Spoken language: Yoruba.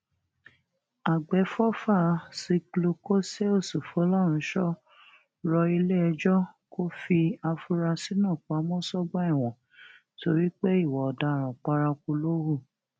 àgbẹfọfà zglucoseus folorunshò rọ iléẹjọ kò fi àfúráṣí náà pamọ sọgbà ẹwọn torí pé ìwà ọdaràn paraku ló hù